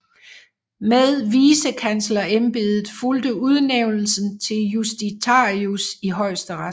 Med Vicekanslerembedet fulgte Udnævnelsen til Justitiarius i Højesteret